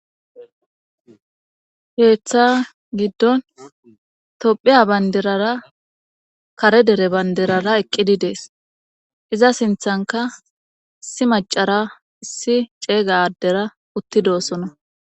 Heeththa giddon tophiya bandirara kare dere bandirara eqqidi dees iza sinthanka issi macara issi ceeyga addera uttidoosona.